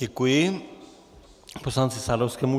Děkuji poslanci Sadovskému.